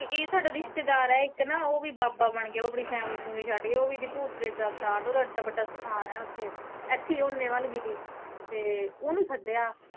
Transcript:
ਇੱਕ ਨਾ ਸਾਡਾ ਰਿਸ਼ਤੇਦਾਰ ਆ ਓਵੀਂ ਬਾਬਾ ਬਣ ਗਿਆ ਆਪਣੀ ਫ਼ੈਮਿਲੀ ਫੁਮਲੀ ਫੁਮਿਲੀ ਛੱਡ ਕੇ ਓਵੀਂ ਭੂਤ ਇਦੀ ਭੂਤ ਪ੍ਰੇਤ ਤਾਰਦਾ ਓਦਾ ਏਡਾ ਵੱਡਾ ਸਥਾਨ ਐ ਓੱਥੇ, ਇੱਥੇ ਆ ਓਨੇ ਵੱਲ ਕੀਤੇ ਤੇ ਓਨੂੰ ਸੱਦਿਆ।